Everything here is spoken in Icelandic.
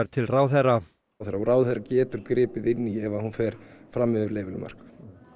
til ráðherra og ráðherra getur gripið inn í ef hún fer fram yfir leyfileg mörk